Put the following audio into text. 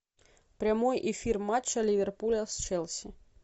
прямой эфир матча ливерпуля с челси